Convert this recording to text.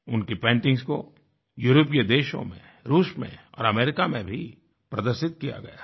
उनकी पेंटिंग्स को यूरोपीय देशों में रूस में और अमेरिका में भी प्रदर्शित किया गया है